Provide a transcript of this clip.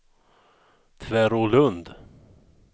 Tvärålund